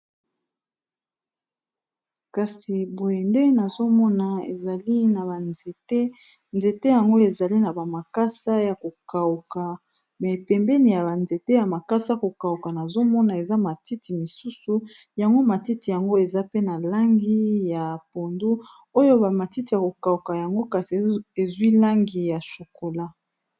Kasi boyende nazomona ezali na banzete, nzete yango ezali na ba makasa ya ko kauka mais pembeni ya ba nzete ya makasa yako kauka nazomona eza matiti misusu yango matiti yango eza pe na langi ya pondu oyo ba matiti ya ko kauka yango kasi eza na langi ya shokola.